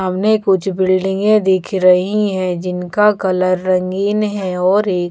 मने कुछ बिल्डिंगें दिख रही हैं जिनका कलर रंगीन है और एक--